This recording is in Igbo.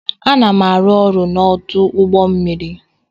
Ana m arụ ọrụ n'ọdụ ụgbọ mmiri.